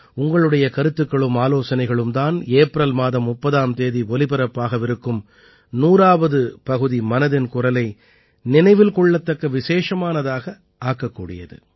உங்களுடைய கருத்துக்களும் ஆலோசனைகளும் தான் ஏப்ரல் மாதம் 30ஆம் தேதி ஒலிபரப்பாகவிருக்கும் 100ஆவது பகுதி மனதின் குரலை நினைவில் கொள்ளத்தக்க விசேஷமானதாக ஆக்கக்கூடியது